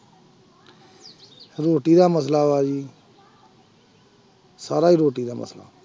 ਰੋਟੀ ਦਾ ਮਸਲਾ ਵਾ ਜੀ ਸਾਰਾ ਹੀ ਰੋਟੀ ਦਾ ਮਸਲਾ।